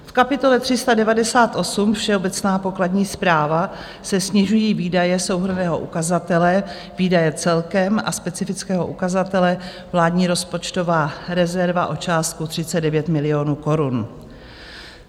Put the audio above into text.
V kapitole 398, Všeobecná pokladní správa, se snižují výdaje souhrnného ukazatele Výdaje celkem a specifického ukazatele Vládní rozpočtová rezerva o částku 39 milionů korun.